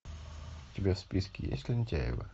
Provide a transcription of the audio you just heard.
у тебя в списке есть лентяево